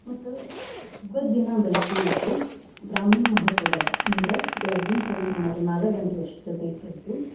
ಮತ್ತ್ ಹಬ್ಬದ್ ದಿನಾ ಬೆಳಗ್ಗೆ ಎದ್ದು ಬ್ರಾಹ್ಮಿ ಮುಹೂರ್ತದಾಗ ಅಂದ್ರ ಬೆಳಗಿನ್ ಸರಿ ಸುಮಾರು ನಾಲಕ್ ಗಂಟೆ ಅಸ್ಟೊತಿಗ್ ಎದ್ದು.